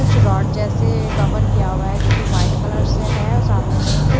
कुछ रोड जेसे कवर किया हुआ है जो की वाइट कलर से है सामने में एक--